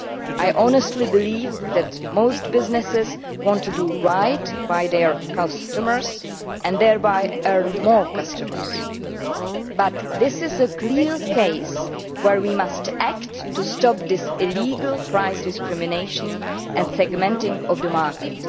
I honestly believe that most businesses want to do right by their customers and thereby attract more customers, but this is clearly a case where we must act to stop this illegal price discrimination and segmenting of the market.